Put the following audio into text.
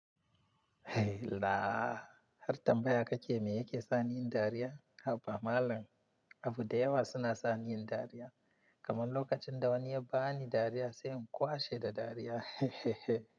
Hei la! Har tambaya kake me yake saniyin dariya? Haba malam, abu da yawa suna saniyin dariya. Kaman lokacin da wani ya bani dariya sai in kwashe da dariya.